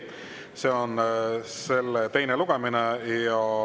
See on selle teine lugemine.